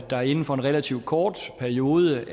der inden for en relativt kort periode